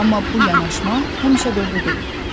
Amma bu yanaşma həmişə doğru deyil.